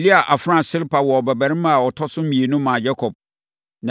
Lea afenaa Silpa woo ɔbabarima a ɔtɔ so mmienu maa Yakob.